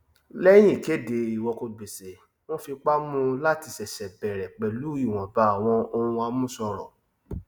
lẹyìn ìkéde ìwọkogbèsè wọn fipá mú láti sṣẹṣẹ bẹrẹ pẹlú ìwọnba áwọn ohun àmúṣọrọ